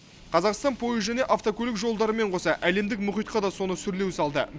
қазақстан пойыз және автокөлік жолдарымен қоса әлемдік мұхитқа да соны сүрлеу салды